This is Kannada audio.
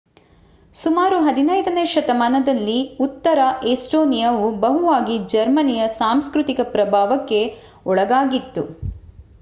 ಸುಮಾರು 15 ನೇ ಶತಮಾನದಲ್ಲಿ ಉತ್ತರ ಎಸ್ಟೋನಿಯಾವು ಬಹುವಾಗಿ ಜರ್ಮನಿಯ ಸಾಂಸ್ಕೃತಿಕ ಪ್ರಭಾವಕ್ಕೆ ಒಳಗಾಗಿತ್ತು